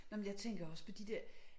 Nåh men jeg tænker også på de der